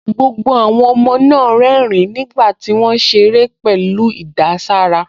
Gbogbo àwọn ọmọ náà ń rẹ́rìn-ín nígbà tí wọ́n ń ṣeré pẹ̀lú ìdàsára